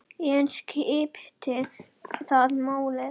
En skiptir það máli?